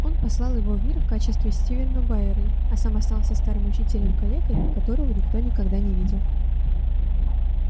он послал его в мир в качестве стивена байерли а сам остался старым учителем-калекой которого никто никогда не видел